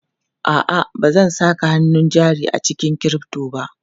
A'a, ba zan saka hannun jari a cikin crypto ba.